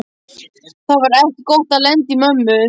Það var ekki gott að lenda í mömmu